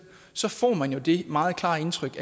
så får man jo det meget klare indtryk